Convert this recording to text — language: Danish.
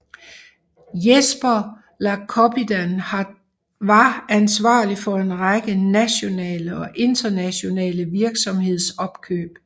Jesper Lacoppidan var ansvarlig for en række nationale og internationale virksomhedsopkøb